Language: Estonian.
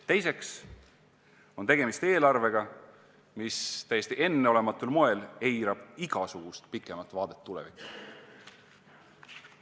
Teiseks on tegemist eelarvega, mis täiesti enneolematul moel eirab igasugust pikemat vaadet tulevikku.